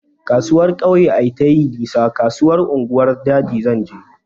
Kasuwar kauye ai tayi nisa, kasuwar unguwar jaji zanje